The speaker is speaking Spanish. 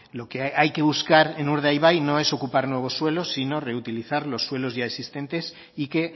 lo que hay que buscar en urdaibai no es ocupar nuevos suelos sino reutilizar los suelos ya existentes y que